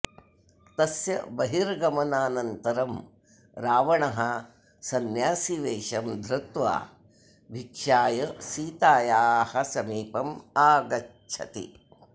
तस्य बहिर्गमनानन्तरं रावणः संन्यासीवेषं धृत्वा भिक्षाय सीतायाः समीपम् आगच्छति